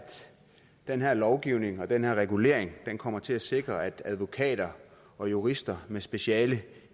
den her lovgivning og den her regulering kommer til at sikre at advokater og jurister med speciale